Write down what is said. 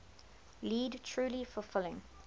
lead truly fulfilling